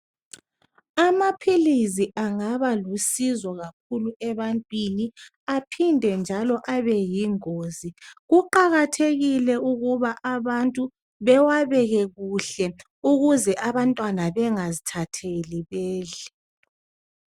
Amaphilisi angaba lusizo kakhulu ebantwini aphinde njalo abe yingozi. Kuqakathekile ukuthi bewabeke kuhle ukuze abantwana bengazithatheli bedle.